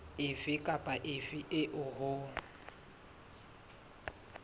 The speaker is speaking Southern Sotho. efe kapa efe eo ho